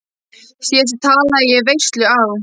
Síðast talaði ég í veislu á